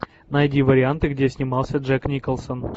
найди варианты где снимался джек николсон